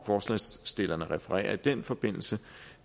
forslagsstillerne refererer i den forbindelse